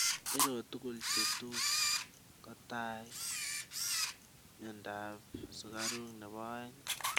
iroo toguk chetus kotai mianda ap sugaruk nepo aeng